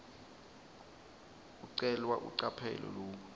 ucelwa ucaphele loku